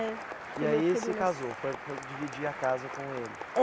É. E aí você casou, foi foi dividir a casa com ele? É